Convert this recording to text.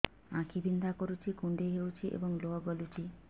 ଆଖି ବିନ୍ଧା କରୁଛି କୁଣ୍ଡେଇ ହେଉଛି ଏବଂ ଲୁହ ଗଳୁଛି